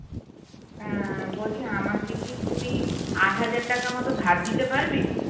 আহ বলছি আমাকে কি তুই আট হাজার টাকা মতো ধার দিতে পারবি?